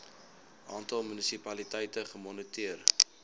aantal munisipaliteite gemoniteer